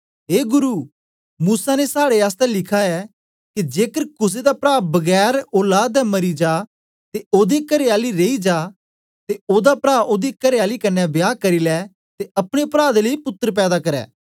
ए गुरु मूसा ने साड़े आसतै लिखा ऐ के जेकर कुसे दा प्रा बगैर औलाद दे मरी जा ते ओदी करेआली रेई जा ते ओदा प्रा ओदी करेआली कन्ने बियाह करी लै ते अपने प्रा दे लेई पुत्तर पैदा कर